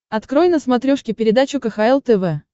открой на смотрешке передачу кхл тв